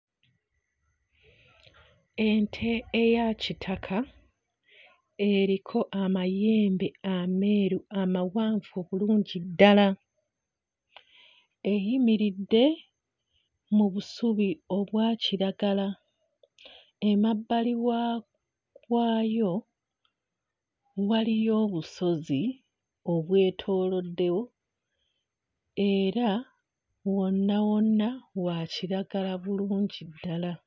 Ente eya kitaka eriko amayembe ameeru amawanvu obulungi ddala eyimiridde mu busubi obwa kiragala, emabbali wa waayo waliyo obusozi obwetooloddewo era wonna wa kiragala bulungi ddala.